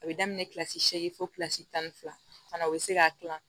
A bɛ daminɛ kilasi seegin fɔ kilasi tan ni fila fana o bɛ se k'a dilan